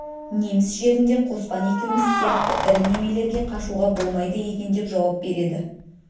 неміс жерінде қоспан екеуміз сияқты ірі немелерге қашуға болмайды екен деп жауап береді